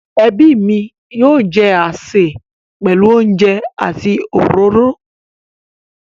Ẹbí mi yóò jẹ àsè pẹ̀lú oúnjẹ àti òróró.